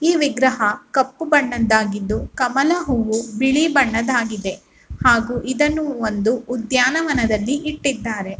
ಈ ವಿಗ್ರಹ ಕಪ್ಪು ಬಣ್ಣದ್ದಾಗಿದ್ದು ಕಮಲ ಹೂ ಬಿಳಿ ಬಣ್ಣದ್ದಾಗಿದೆ ಹಾಗೂ ಇದನ್ನು ಒಂದು ಉದ್ಯಾನವನದಲ್ಲಿ ಇಟ್ಟಿದ್ದಾರೆ.